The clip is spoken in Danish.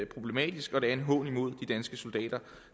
problematisk og at det er en hån mod de danske soldater